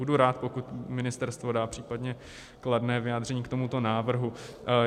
Budu rád, pokud ministerstvo dá případně kladné vyjádření k tomuto návrhu.